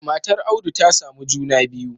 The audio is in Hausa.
Matar audu ta samu juna biyu